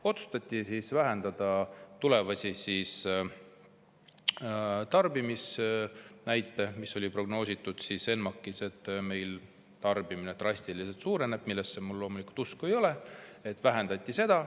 Otsustati vähendada tulevasi tarbimisnäite, mis olid prognoositud ENMAK‑is, et meil tarbimine drastiliselt suureneb – millesse mul loomulikult usku ei ole.